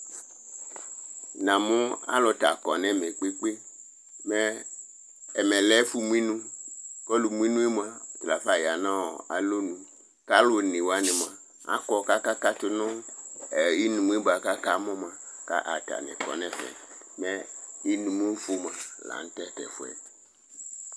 Namʋ alʋ t'aƙɔ nʋ ɛmɛ ƙpeƙpeƙpe; mɛ ,ɛmɛ lɛ ɛfʋ mʋ inuƆlʋ mʋ inue mʋa lafa ƴa nʋ alonuƘʋ alʋ one wanɩ mʋa aƙɔ ƙʋ aƙa ƙatʋ nʋ inumʋ ƴɛ bʋa ƙʋ aƙa mʋ ƴɛ, ƙʋ atanɩ ƙɔ nʋ ɛfɛMɛ inumʋfʋ mʋa la nʋ atatʋ ɛfʋ ƴɛ